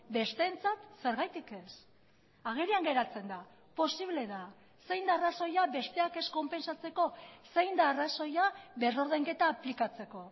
besteentzat zergatik ez agerian geratzen da posible da zein da arrazoia besteak ez konpentsatzeko zein da arrazoia berrordainketa aplikatzeko